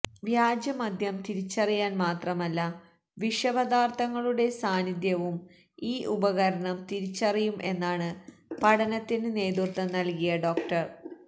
വ്യാജ മദ്യം തിരിച്ചറിയാന് മാത്രമല്ല വിഷ പദാര്ത്ഥങ്ങളുടെ സാന്നിധ്യവും ഈ ഉപകരണം തിരിച്ചറിയും എന്നാണ് പഠനത്തിന് നേതൃത്വം നല്കിയ ഡോ